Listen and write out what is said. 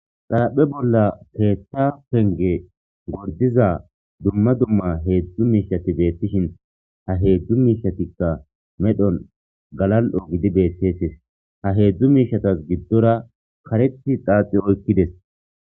Xaraphe bolla keethta penge gordiza dumma dumma heedzdzu miishati deettishin ha heedzdzu miishatikka medhon galal'o gidi beetseetes ha heedzdzu miishatas giddora kareti xaaxi oykkides.